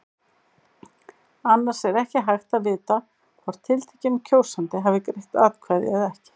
Annars er ekki hægt að vita hvort tiltekinn kjósandi hafi greitt atkvæði eða ekki.